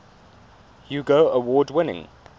hugo award winning